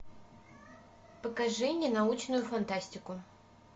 покажи мне научную фантастику